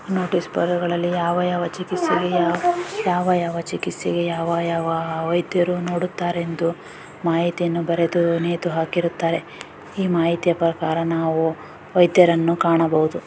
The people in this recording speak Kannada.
ನೋಟಿಸ್ ಬೋರ್ಡುಗಳಲ್ಲಿ ಯಾವ ಯಾವ ಚಿಕಿತ್ಸೆಗೆ ಯಾವ ಯಾವ ಚಿಕಿತ್ಸೆಗೆ ಯಾವ ಯಾವ ವೈದ್ಯರು ನೋಡುತ್ತಾರೆಂದು ಮಾಹಿತಿಯನ್ನು ಬರೆದು ನೇತು ಹಾಕಿರುತ್ತಾರೆ ಈ ಮಾಹಿತಿಯ ಪ್ರಕಾರ ನಾವು ವೈದ್ಯರನ್ನು ಕಾಣಬಹುದು.